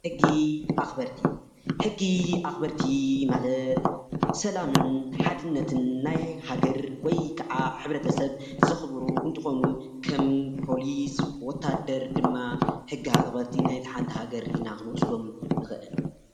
ሕጊ ኣኽበርቲ ሕጊ ኣኽበርቲ ማለት ሰላምን ሓድነትን ናይ ሃገር ወይ ከዓ ሕብረተሰብ ዘኽብሩ እንትኾኑ ከም ፖሊስ፣ ወታደር ድማ ሕጊ ኣኽበርቲ ናይታ ሓንቲ ሃገር ኢልና ክንወስዶም ንኽእል፡፡